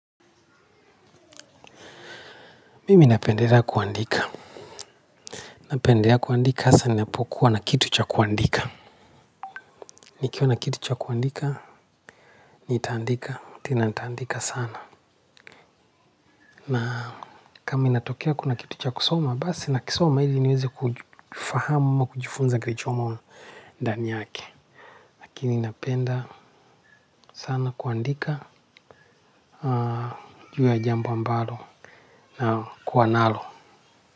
Mimi napendelea kuandika. Napendelea kuandika hasa ni napokuwa na kitu cha kuandika. Nikiwa na kitu cha kuandika, nitaandika, tena nitaandika sana. Na kama inatokea kuna kitu cha kusoma, basi na kisoma ili niweze kufahama kujifunza kirichomo ndani yake. Lakini napenda sana kuandika, juu ya jambo ambalo na kuwanalo.